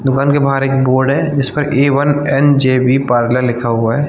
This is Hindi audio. दुकन के बाहर एक बोर्ड है जिस पर A one and JB parlour लिखा हुआ है।